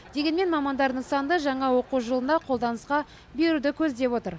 дегенмен мамандар нысанды жаңа оқу жылында қолданысқа беруді көздеп отыр